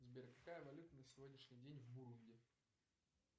сбер какая валюта на сегодняшний день в бурунди